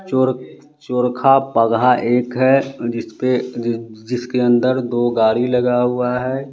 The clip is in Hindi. चोर चोरखा पगहा एक है जिसपे जिस जिसके अंदर दो गाड़ी लगा हुआ है।